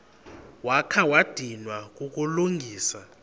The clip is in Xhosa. wakha wadinwa kukulungisa